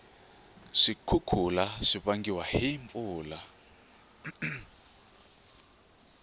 swikhukhula swivangiwa hhi mpfula